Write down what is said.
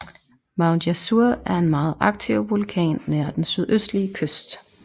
Mount Yasur er en meget aktiv vulkan nær den sydøstlige kyst